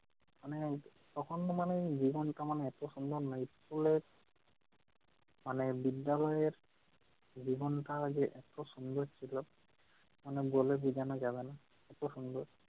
মানে তখন মানে জীবনটা মানে এত সুন্দর না! school এ মানে বিদ্যালয়ের জীবনটা যে এত সুন্দর ছিল মানে বলে বুঝানো যাবে না, এত সুন্দর!